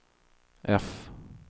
F